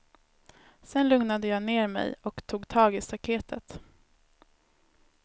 Sen lugnade jag ner mej och tog tag i staketet.